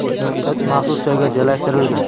It maxsus joyga joylashtirilgan.